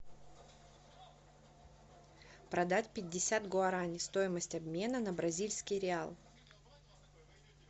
продать пятьдесят гуарани стоимость обмена на бразильский реал